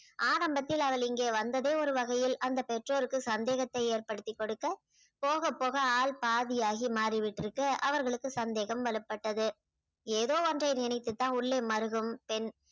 ஆரம்பத்தில் அவள் இங்கே வந்ததே ஒரு வகையில் அந்த பெற்றோருக்கு சந்தேகத்தை ஏற்படுத்திக் கொடுக்க போகப் போக ஆள் பாதியாகி மாறி விட்டிருக்கு அவர்களுக்கு சந்தேகம் வலுப்பட்டது ஏதோ ஒன்றை நினைத்துத்தான் உள்ளே மருகும் பெண்